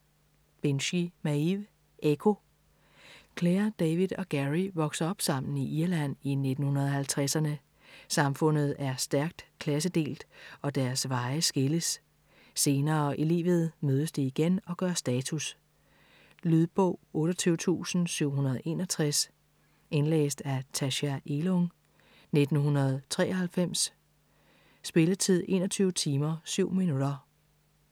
Binchy, Maeve: Ekko Clare, David og Gerry vokser op sammen i Irland i 1950'erne. Samfundet er stærkt klassedelt, og deres veje skilles. Senere i livet mødes de igen og gør status. Lydbog 28761 Indlæst af Tacha Elung, 1993. Spilletid: 21 timer, 7 minutter.